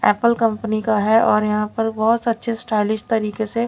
Apple company का है और यहाँ पर बोहोत अच्छे स्टाइलिश तरीके से--